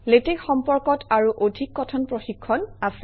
LaTeX সম্পৰ্কত আৰু অধিক কথন প্ৰশিক্ষণ আছে